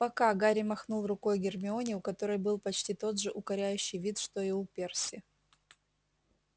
пока гарри махнул рукой гермионе у которой был почти тот же укоряющий вид что и у перси